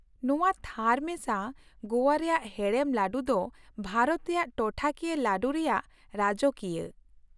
ᱱᱚᱶᱟ ᱛᱷᱟᱨ ᱢᱮᱥᱟ ᱜᱳᱣᱟ ᱨᱮᱭᱟᱜ ᱦᱮᱲᱮᱢ ᱞᱟᱹᱰᱩ ᱫᱚ ᱵᱷᱟᱨᱚᱛ ᱨᱮᱭᱟᱜ ᱴᱚᱴᱷᱟ ᱠᱤᱭᱟᱹ ᱞᱟᱰᱩ ᱨᱮᱭᱟᱜ ᱨᱟᱡᱚᱠᱤᱭᱟᱹ ᱾